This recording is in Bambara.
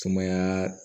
Sumaya